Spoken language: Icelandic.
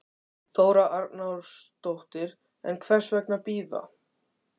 Þóra Arnórsdóttir: En hvers vegna bíða?